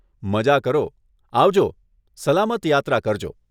મઝા કરો, આવજો, સલામત યાત્રા કરજો.